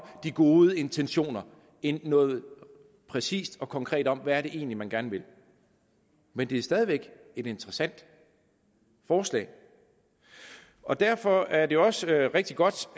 de gode intentioner end noget præcist og konkret om hvad det egentlig er man gerne vil men det er stadig væk et interessant forslag og derfor er det også rigtig godt